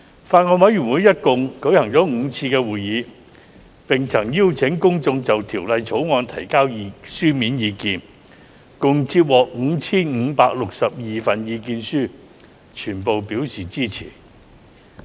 法案委員會一共舉行了5次會議，並曾邀請公眾就《條例草案》提交書面意見，共接獲 5,562 份意見書，全部表示支持。